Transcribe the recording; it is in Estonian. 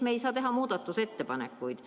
Me ei saa teha muudatusettepanekuid.